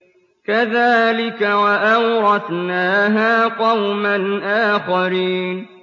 كَذَٰلِكَ ۖ وَأَوْرَثْنَاهَا قَوْمًا آخَرِينَ